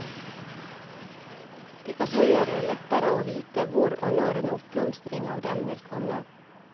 Det kan så gjøre det lettere å vite hvor og når en oppblomstring av dem vil komme.